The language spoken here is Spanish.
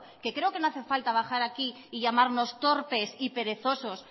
que creo que no hace falta bajar aquí y llamarnos torpes y perezosos